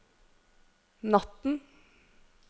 natten